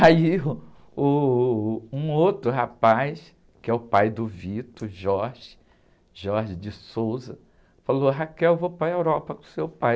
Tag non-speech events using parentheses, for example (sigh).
Aí (laughs) uh, um outro rapaz, que é o pai do, (unintelligible) o,, (unintelligible) falou, (unintelligible) vou para a Europa com o seu pai.